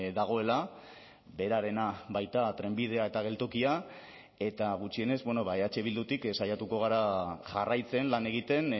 dagoela berarena baita trenbidea eta geltokia eta gutxienez eh bildutik saiatuko gara jarraitzen lan egiten